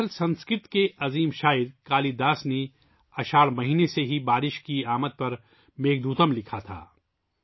دراصل سنسکرت کے عظیم شاعر کالیداس نے میگھدوتم کو اساڑھ کے مہینے سے ہی بارش کی آمد پر میگھ دوتم لکھا تھا